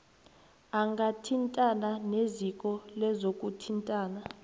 angathintana neziko lezokuthintana